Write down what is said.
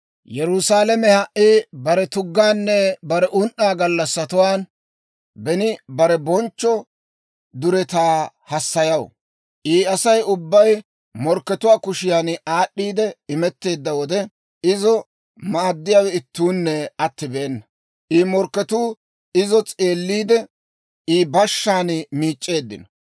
Yerusaalama ha"i bare tuggaanne bare un"aa gallassatuwaan beni bare bonchcho duretaa hassayaw. I Asay ubbay morkkatuwaa kushiyan aad'd'iide imetteedda wode, izo maaddiyaawe ittuunne attibeena. I morkketuu izo s'eelliide, I bashshaan miic'c'eeddino.